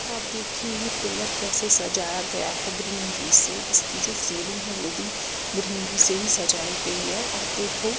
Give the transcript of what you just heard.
अब देखिये ये पिलर केसे सजाया गया है ग्रीनरी से इसकी जो सेलींग है वो भी ग्रीनरी से ही सजाई गयी है अब देखो--